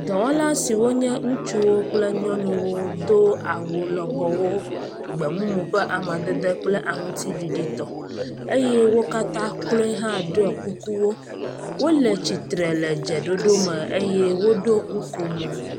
Dɔwɔla siwo nye ŋutsuwo kple nyɔnuwo do awu lɔbɔwo gbemumu ƒe amadede kple aŋutsiɖiɖitɔ eye wo katã kloe hã ɖɔ kukuwo. Wole tsitre le dzeɖoɖo me eye woɖo nu ko mo.